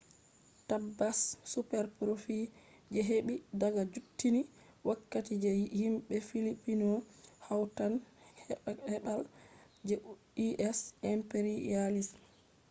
tabbas superprofits je ɓe heɓi daga juttunni wakkati je himɓe filipino hautan keɓal je u,s. imperialism